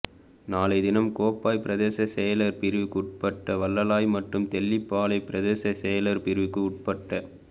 நாளைய தினம் கோப்பாய் பிரதேச செயலர் பிரிவுக்கு உட்பட்ட வளலாய் மற்றும் தெல்லிப்பளை பிரதேச செயலர் பிரிவுக்கு உட்பட்ட